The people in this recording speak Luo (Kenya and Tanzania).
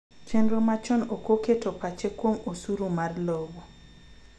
Chenro machon oko keto pache kuom osuru mar lowo